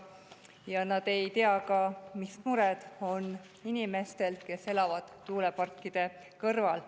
Ja nad ei tea ka, mis mured on inimestel, kes elavad tuuleparkide kõrval.